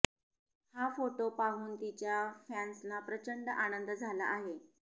हा फोटो पाहून तिच्या फॅन्सना प्रचंड आनंद झाला आहे